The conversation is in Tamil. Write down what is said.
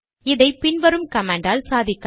இதை பின் வரும் கமாண்ட் ஆல் சாதிக்கலாம்